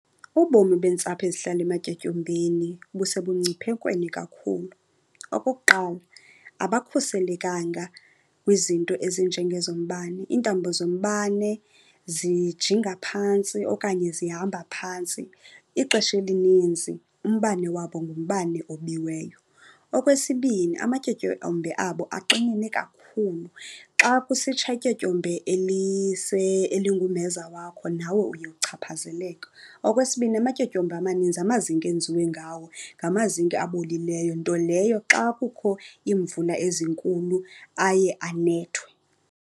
Ubomi beentsapho ezihlala ematyotyombeni busebungciphekweni kakhulu. Okokuqala, abakhuselekanga kwizinto ezinjengezombane. Iintambo zombane zijinga phantsi okanye zihamba phantsi. Ixesha elininzi umbane wabo ngumbane obiweyo. Okwesibini, amatyotyombe abo axinene kakhulu. Xa kusitsha ityotyombe elingumeza wakho nawe uye uchaphazeleke. Okwesibini, amatyotyombe amaninzi amazinki enziwe ngawo ngamazinki abolileyo, nto leyo xa kukho iimvula ezinkulu aye anethwe.